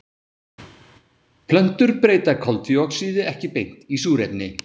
Plöntur breyta koltvíoxíði ekki beint í súrefni.